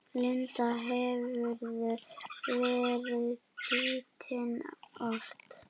Linda: Hefurðu verið bitinn oft?